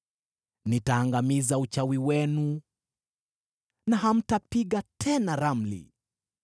Nitaangamiza uchawi wenu na hamtapiga tena ramli.